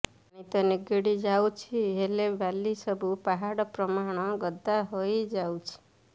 ପାଣି ତ ନିଗିଡ ଯାଉଛି ହେଲେ ବାଲି ସବୁ ପାହାଡ ପ୍ରମାଣ ଗଦା ହୋଇଯାଉଛି